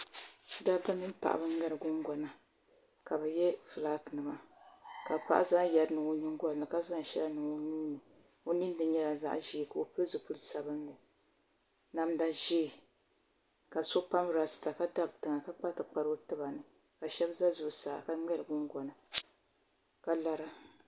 Dabba mini paɣaba n ŋmɛri gungona ka bi yɛ fulaaki nima ka paɣa zaŋ yɛri n niŋ o nyingoli ni ka zaŋ shɛli niŋ o nuuni ka o pili zipili sabinli namda ʒiɛ ka so pam rasta ka dabi tiŋa ka kpa tikpara o tiba ni ka shab ʒɛ zuɣusaa ka ŋmɛri gungona ka lara